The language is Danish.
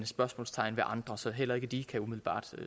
spørgsmålstegn ved andre elementer så heller ikke de kan umiddelbart